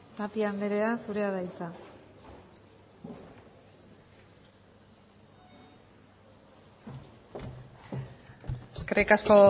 tapia anderea zurea da hitza eskerrik asko